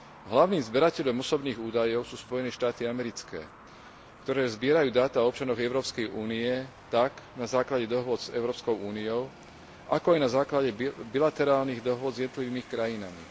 Hlavným zberateľom osobných údajov sú Spojené štáty americké, ktoré zbierajú dáta občanov Európskej únie tak na základe dohôd s Európskou úniou, ako aj na základe bilaterálnych dohôd s jednotlivými krajinami.